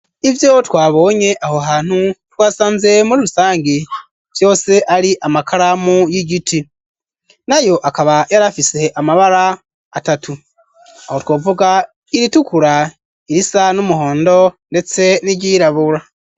Ivyo twabonye aho hantu twasanze muli rusangi byose ari amakala mu y'igiti nayo akaba yari afise amabara atatu aho twovuga iritukura irisa n'umuhondo ndetse n'iryirabura.